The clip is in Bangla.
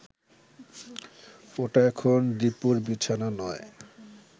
ওটা এখন দীপুর বিছানা নয়